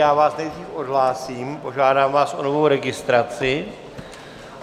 Já vás nejdřív odhlásím, požádám vás o novou registraci.